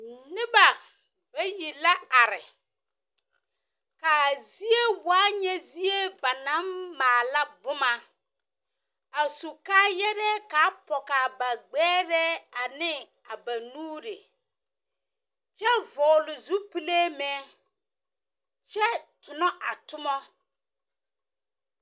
Neba bayi la are. Kaa zie waa nyɛ zie ba naŋ maala boma. A su kaayarɛɛ kaa pɛgaa ba gbɛrɛɛ ane ba nuuri. Kyɛ vɔgele zupilee meŋ. Kyɛ tonɔ a toma.